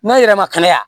N'an yɛrɛ ma kɛnɛ wa